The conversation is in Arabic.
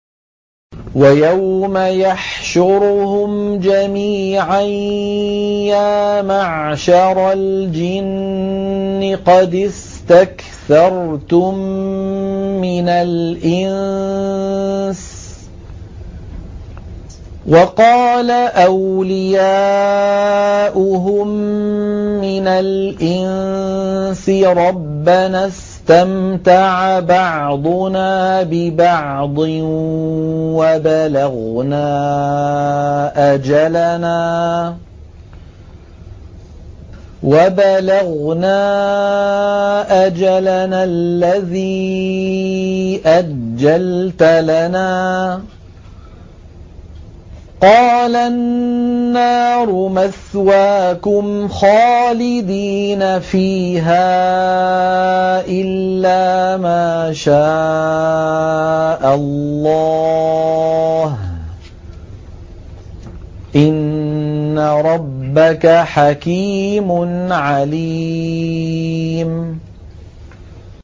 وَيَوْمَ يَحْشُرُهُمْ جَمِيعًا يَا مَعْشَرَ الْجِنِّ قَدِ اسْتَكْثَرْتُم مِّنَ الْإِنسِ ۖ وَقَالَ أَوْلِيَاؤُهُم مِّنَ الْإِنسِ رَبَّنَا اسْتَمْتَعَ بَعْضُنَا بِبَعْضٍ وَبَلَغْنَا أَجَلَنَا الَّذِي أَجَّلْتَ لَنَا ۚ قَالَ النَّارُ مَثْوَاكُمْ خَالِدِينَ فِيهَا إِلَّا مَا شَاءَ اللَّهُ ۗ إِنَّ رَبَّكَ حَكِيمٌ عَلِيمٌ